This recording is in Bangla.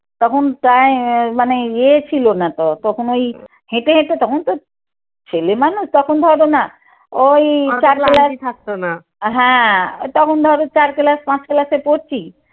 তখন আহ মানে ইয়ে ছিল না তো, তখন ওই হেঁটে হেঁটে তখন তো ছেলেমানুষ তখন ধরো না ওই থাকতো না। হ্যাঁ ওই তখন ধরো চার ক্লাস পাঁচ ক্লাসে পড়ছি